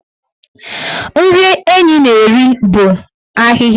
Nri Enyi na-eri bụ ahịhịa.